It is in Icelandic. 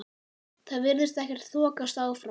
Það virðist ekkert þokast áfram?